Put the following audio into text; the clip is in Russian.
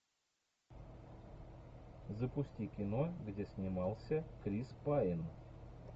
запусти кино где снимался крис пайн